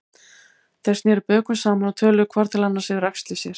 Þeir sneru bökum saman og töluðu hvor til annars yfir axlir sér.